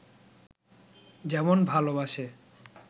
যেমন ভালোবাসে